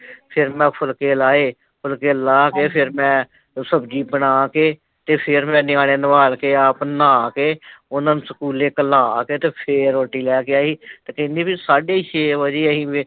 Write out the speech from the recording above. ਫਿਰ ਮੈਂ ਫੁਲਕੇ ਲਾਏ ਫੁਲਕੇ ਲਾਕੇ ਫਿਰ ਮੈਂ, ਸਬਜ਼ੀ ਬਣਾਕੇ, ਤੇ ਫੇਰ ਮੈਂ ਨਿਆਣੇ ਨਵਲ ਕੇ ਆਪ ਨਾਹ ਕੇ, ਓਹਨਾ ਨੂੰ ਸਕੂਲੇ ਘੱਲਾਂ ਕੇ ਤੇ ਫੇਰ ਰੋਟੀ ਲੇਕੇ ਆਈ, ਤੇ ਕਹਿੰਦੀ ਵੀ ਸਾਢੇ ਛੇ ਵਜੇ ਅਸੀਂ ਵੇਹਲੇ